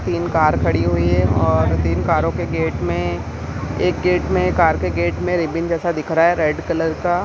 तीन कार खड़ी हुई है और तीन कारों के गेट में एक गेट में कार के गेट में रिबन जेसा दिख रहा है रेड कलर का।